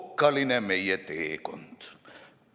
Okkaline meie teekond!